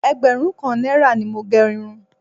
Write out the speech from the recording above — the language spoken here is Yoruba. Ẹgbẹ̀rún kan náírà ni mo gẹ irun